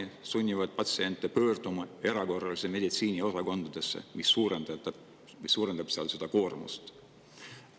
See sunnib patsiente pöörduma erakorralise meditsiini osakonda, mis suurendab sealset koormust.